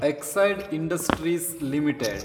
Exide Industries limited